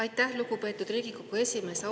Aitäh, lugupeetud Riigikogu esimees!